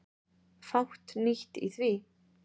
Fátt nýtt í því.